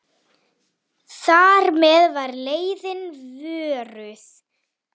Þar með var leiðin vörðuð.